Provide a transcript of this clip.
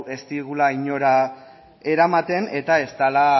ez digula inora eramaten eta ez dela